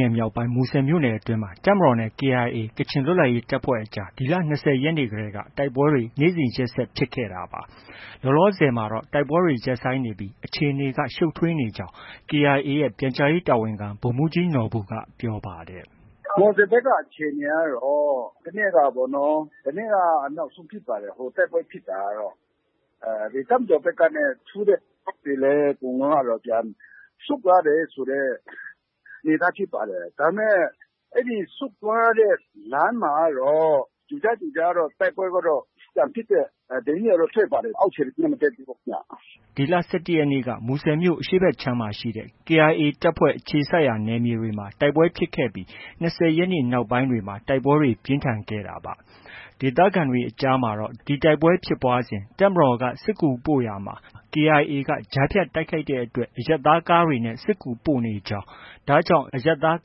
နယ်မြောက်ပိုင်း မူဆယ်မြို့နယ်အတွင်းမှာ တပ်မတော်နဲ့ KIA ကချင်လွတ်လပ်ရေးတပ်ဖွဲ့အကြား ဒီလ ၂၀ရက်နေ့တည်းက တိုက်ပွဲတွေ နေ့စဉ်ရက်ဆက် ဖြစ်ခဲ့တာပါ။ လောလောဆယ်မှာတော့ တိုက်ပွဲတွေ ရပ်ဆိုင်းနေပြီး အခြေအနေက ရှုပ်ထွေးနေကြောင်း KIA ရဲ့ ပြန်ကြားရေးတာဝန်ခံ ဗိုလ်မှုးကြီးနော်ဘူက ပြောပါတယ်။ “ မူဆယ်ဘက် တိုက်ပွဲအခြေအနေကတော့ တနေ့ကပေါ့နော်။ တနေ့က နောက်ဆုံးဖြစ်ပါတယ်။ တိုက်ပွဲဖြစ်တာကတော့။ တပ်မတော်ဘက်က ထိုးတဲ့ စစ်ကြောင်းတွေလည်း အကုန်လုံးကတော့ ပြန်ဆုတ်သွားတယ်ဆိုတဲ့ အနေအထားဖြစ်ပါတယ်။ ဒါပေမဲ့ ဆုတ်သွားတဲ့ လမ်းမှာကတော့ ကြိုကြားကြိုကြားတော့ တိုက်ပွဲက ပြန်ဖြစ်တဲ့ သတင်းတွေကတော့ ထွက်ပါတယ်။ အောက်ခြေကတော့ သတင်းက မတက်သေးဘူးခင်ဗျ။ ” ဒီလ ၁၁ရက်နေ့က မူဆယ်မြို့ အရှေ့ဘက်ခြမ်းမှာရှိတဲ့ KIA တပ်အခြေစိုက်နယ်မြေတွေမှာ တိုက်ပွဲဖြစ်ခဲ့ပြီး ၂၀ရက်နေ့နောက်ပိုင်းမှာ တိုက်ပွဲတွေ ပြင်းထန်ခဲ့တာပါ။ ဒေသခံတွေအကြားမှာတော့ ဒီတိုက်ပွဲဖြစ်ပွားစဉ် တပ်မတော်က စစ်ကူပို့ရာမှာ KIA က ကြားဖြတ် တိုက်ခိုက်တဲ့အတွက် အရပ်သားကားတွေနဲ့ စစ်ကူပို့ဆောင်နေကြောင်း၊ ဒါကြောင့် အရပ်သား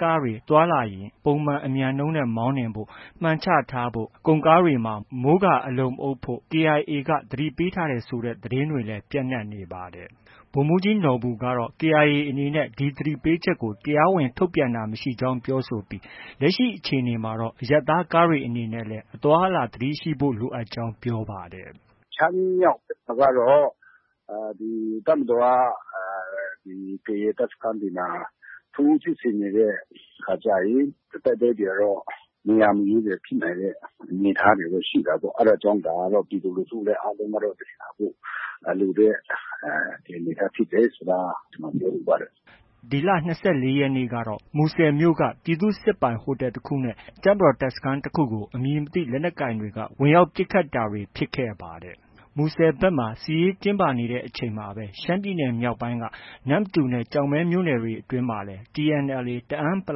ကားတွေ သွားလာရင် ပုံမှန်အမြန်နှုန်းနဲ့ မောင်းနှင်ဖို့၊ မှန်ချထားဖို့၊ ကုန်ကားတွေမှာ မိုးကာ အလုံမအုပ်ဖို့ KIAက သတိပေးထားတယ်ဆိုတဲ့ သတင်းတွေလည်း ပျံနှံနေပါတယ်။ ဗိုလ်မှုးကြီးနော်ဘူကတော့ KIA အနေနဲ့ ဒီသတိပေးချက်ကို တရားဝင် ထုတ်ပြန်တာမရှိကြောင်းပြောဆိုပြီးလက်ရှိအခြေအနေမှာတော့ အရပ်သားကားတွေအနေနဲ့လည်း အသွားအလာ သတိရှိဖို့ လိုအပ်ကြောင်း ပြောပါတယ်။ “ ရှမ်းမြောက်ဘက်ကတော့ တပ်မတော်က ဒီ KIA တပ်စခန်းတွေမှာ ထိုးစစ်ဆင်နေတဲ့အခါကျရင် တိုက်ပွဲတွေကတော့ နေရာမရွေးဖြစ်နိုင်တဲ့ အနေအထားတွေလည်း ရှိတာပေါ့။ အဲဒါကြောင့် ပြည်သူလူထုလည်း အားလုံးကတော့ သတိထားဖို့ လိုတဲ့ အနေအထားဖြစ်တယ်ဆိုတာ ကျနော် ပြောလိုပါတယ်။” ဒီလ ၂၄ရက်နေ့ကတော့ မူဆယ်မြို့က ပြည်သူ့စစ်ပိုင် ဟိုတယ်တခုနဲ့ တပ်မတော်တပ်စခန်းတခုကို အမည်မသိလက်နက်ကိုင်တွေက ဝင်ရောက်ပစ်ခတ်တာတွေ ဖြစ်ခဲ့ပါတယ်။ မူဆယ်ဘက် စစ်ရေးတင်းမာနေတဲ့အချိန်မှာပဲ ရှမ်းပြည်နယ် မြောက်ပိုင်းက နမ္မတူနဲ့ ကျောက်မဲမြို့နယ်တွေအတွင်းမှာတော့ TNLA တအန်း(ပ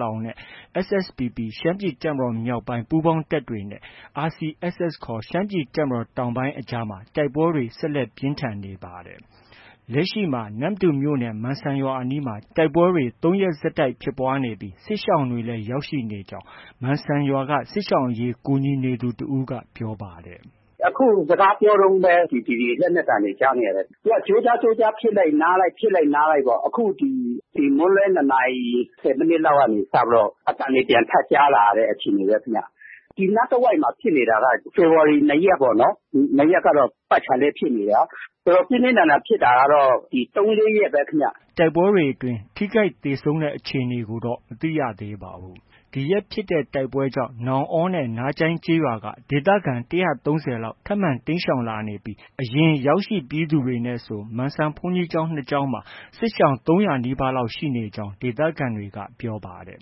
လောင်)နဲ့ SSPP ရှမ်းပြည်တပ်မတော်မြောက်ပိုင်း ပူးပေါင်းတပ်တွေနဲ့ RCSS ရှမ်းပြည်တပ်မတော် တောင်ပိုင်းအကြားမှာ တိုက်ပွဲတွေ ဆက်လက် ပြင်းထန်နေပါတယ်။ လက်ရှိမှာ နမ္မတူမြို့နယ် မန်စံရွာအနီးမှာ တိုက်ပွဲတွေ ၃ရက်ဆက်တိုက် ဖြစ်ပွားနေပြီး စစ်ရှောင်တွေလည်း ရောက်ရှိနေကြောင်းကို မန်စံရွာက စစ်ရှောင်အရေး ကူညီနေသူတစ်ဦးက ပြောပါတယ်။ “ အခု စကားပြောတုံးပဲ လက်နက်သံတွေ ကြားနေရတယ်။ သူက ကြိုကြား ကြိုးကြားဖြစ်လိုက် နားလိုက်ပေါ့။ အခုဒီ မွန်းလွဲ ၂နာရီ ၁၀မိနစ်လောက်ကနေစပြီးတော့ အသံတွေ ပြန်ထပ်ကြားလာရတဲ့အခြေအနေပဲခင်ဗျ။ ဒီနားတဝှိုက်မှာ ဖြစ်နေတာကတော့ ဖေဖော်ဝါရီ ၂ရက်ပေါ့နော်။ ၂ရက်နေ့က ပတ်ခြာလှည့်ဖြစ်နေတာ။ ပြင်းပြင်းထန်ထန်ဖြစ်တာကတော့ ဒီ ၃- ၄ ရက်ပဲခင်ဗျ။ ” တိုက်ပွဲတွေအတွင်း ထိခိုက်ဒဏ်ရာရသေဆုံးတဲ့ အခြေအနေတွေကိုတော့ မသိရသေးပါဘူး။ ဒီရက်ဖြစ်တဲ့ တိုက်ပွဲကြောင့် နောင်အောနဲ့ နားကျိုင်းရွာက ဒေသခံ ၁၃၀လောက် ထပ်မံတိမ်းရှောင်လာနေပြီး အရင် ရောက်ရှိပြီးသူနဲ့ဆို မန်စံရွာဘုန်းကြီးကျောင်း ၂ကျောင်းမှာ စစ်ရှောင် ၃၀၀နီးပါး ရောက်နေကြောင်း ဒေသခံတွေက ပြောပါတယ်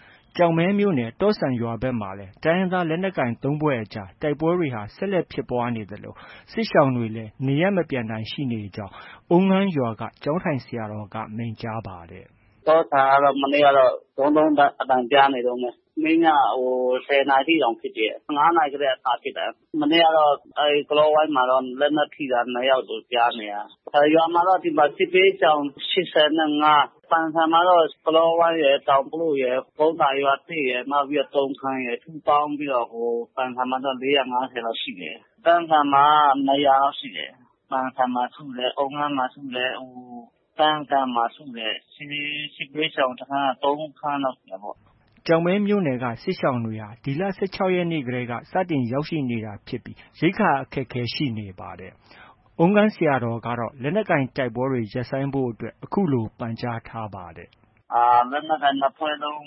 ။ ကျောက်မဲမြို့နယ် တော့ဆန်ရွာဘက်မှာလည်း တိုင်းရင်းသားလက်နက်ကိုင် ၃ဖွဲ့အကြား တိုက်ပွဲတွေ ဆက်လက်ဖြစ်ပွားနေသလို စစ်ရှောင်တွေလည်း နေရပ်မပြန်နိုင်သေးကြောင်း အုမ်းငန်းရွာက ကျောင်းထိုင်ဆရာတော်က မိန့်ကြားပါတယ်။ “ တော့ဆန်ကတော့ မနေ့ကတော့ ဒုန်းဒုန်းဒိုင်းဒိုင်း အသံကြားနေတုံးပဲ။ မနေ့ညက ၁၀နာရီ ထိတောင် ဖြစ်တယ်။ ၅နာရီတည်းက စဖြစ်တယ်။ မနေ့ကတော့ ကလောဝိုင်းမှာတော့ လက်နက် ထိတာ ၂ယောက်လို့ ကြားနေရတယ်။ ရွာမှာတော့ ဒီမှာ စစ်ဘေးရှောင် ၈၅။ ပန်ဆန်မှာတော့ ကလောဝိုင်းရယ်၊ တောင်ပလို့ရယ်၊ ကုန်းသာရွာသစ်ရယ်၊ နောက်ပြီးတော့ တုံထန်ရယ် ပေါင်းပြီးတော့ ပန်ဆန်မှာတော့ ၄၅၀လောက်ရှိတယ်။ ကန့်ကန်မှာက ၂၀၀လောက်ရှိတယ်။ ပန်ဆန်မှာ ရှိမယ်။ အုမ်းငန်းမှာ ရှိမယ်။ ကန့်ကန်မှာ ရှိမယ်။ စစ်ဘေးရှောင်စခန်းကတော့ ၃ခန်းလောက်ရှိတယ်။” ကျောက်မဲမြို့နယ်က စစ်ရှောင်တွေကတော့ ဒီလ ၁၆ရက်နေ့တည်းက စတင်ရောက်ရှိနေတာဖြစ်ပြီး ရိက္ခာအခက်အခဲ ရှိနေပါတယ်။ အုမ်းငန်းဆရာတော်ကတော့ လက်နက်ကိုင်တိုက်ပွဲတွေ ရပ်ဆိုင်းဖို့အတွက် အခုလို ပန့်ကြားထားပါတယ်။ “ လက်နက်ကိုင် ၂ဖွဲ့လုံး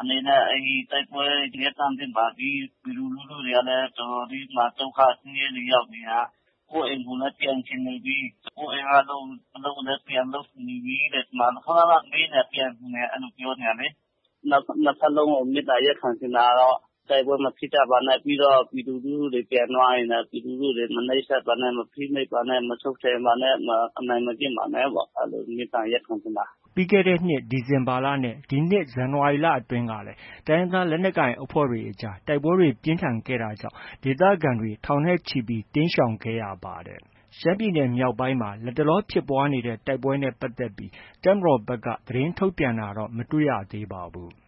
အနေနဲ့ တိုက်ပွဲတွေ ရပ်တန့်သင့်ပါပြီ။ ပြည်သူလူထုတွေကလည်း တော်တော်လေး ဒုက္ခဆင်းရဲတွေ ရောက်နေတာ။ ကိုယ့်အိမ်ကိုလည်း ပြန်ချင်နေပြီ၊ ကိုယ့်အိမ်က အလုပ်ကိုလည်း ပြန်လုပ်ချင်နေပြီ။ ခန ခန မေးနေတာ။ ပြန်ချင်တယ် အဲလို ပြောနေတာလေ။ နှစ်ဘက်လုံးကို မေတ္တာရပ်ခံချင်တာကတော့ တိုက်ပွဲမဖြစ်ကြပါနဲ့။ ပြီးတော့ ပြည်သူလူထုတွေ ပြန်သွားရင်လည်း ပြည်သူလူထုတွေကို မနှိပ်စက်ပါနဲ့၊ မဖိနှိပ်ပါနဲ့၊ မချုပ်ခြယ်ပါနဲ့၊ အနိုင်မကျင့်ပါနဲ့ပေါ့။ အဲလို မေတ္တာရပ်ခံချင်ပါတယ်။” ပြီးခဲ့တဲ့နှစ် ဒီဇင်ဘာလနဲ့ ဇန်နဝါရီလအတွင်းကလည်း တိုင်းရင်းသားလက်နက်ကိုအဖွဲ့တွေအကြား တိုက်ပွဲတွေ ပြင်းထန်ခဲ့တာကြောင့် ဒေသခံတွေ ထောင်နဲ့ချီပြီး တိမ်းရှောင်ခဲ့ရပါတယ်။ ရှမ်းပြည်နယ်မြောက်ပိုင်းမှာ လတ်တလော ဖြစ်ပွားနေတဲ့ တိုက်ပွဲတွေနဲ့ ပတ်သက်ပြီး တပ်မတော်ဘက် သတင်းထုတ်ပြန်တာတော့ မတွေ့ရပါဘူး။